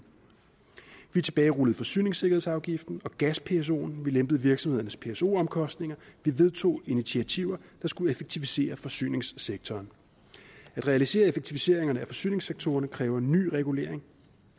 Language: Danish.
vi tilbagerullede forsyningssikkerhedsafgiften og gas psoen vi lempede virksomhedernes pso omkostninger vi vedtog initiativer der skulle effektivisere forsyningssektoren at realisere effektiviseringerne af forsyningssektorerne kræver ny regulering